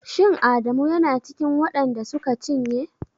Shin Adamu yana cikin waɗan da suka cinye?